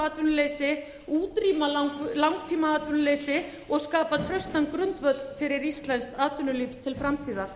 atvinnuleysi útrýma langtímaatvinnuleysi og skapa traustan grundvöll fyrir íslenskt atvinnulíf til framtíðar